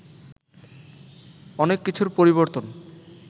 অনেক কিছুর পরিবর্তন